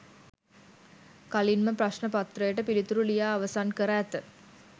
කලින්ම ප්‍රශ්න පත්‍රයට පිළිතුරු ලියා අවසන් කර ඇත